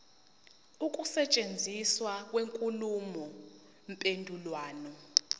ukusetshenziswa kwenkulumo mpendulwano